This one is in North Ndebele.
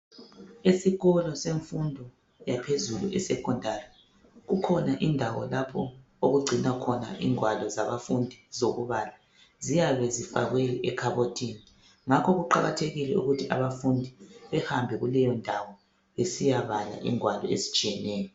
Esikolo semfundo yaphezulu eSekhondari kukhona indawo lapho okugcinwa khona ingwalo zabafundi zokubala. Ziyabe zifakwe ekhabothini ngakho kuqakathekile ukuthi abafundi behambe kuleyondawo besiyabala ingwalo ezitshiyeneyo.